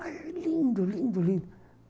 Mas é lindo, lindo, lindo.